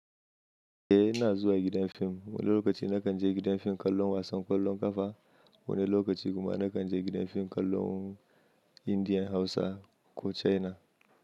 Eh ina zuwa gidan fim. Wani lokaci na kan je gidan fim kallon wasan ƙwallon ƙafa, wani lokaci kuma na kan je gidan fim kallon Indian, Hausa ko China.